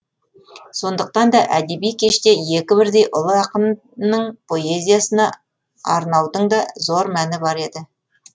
сондықтан да әдеби кеште екі бірдей ұлы ақынның поэзиясына арнаудың да зор мәні бар еді